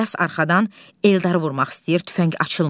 İlyas arxadan Eldarı vurmaq istəyir, tüfəng açılmır.